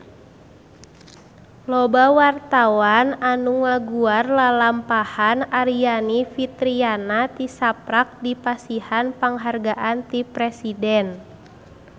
Loba wartawan anu ngaguar lalampahan Aryani Fitriana tisaprak dipasihan panghargaan ti Presiden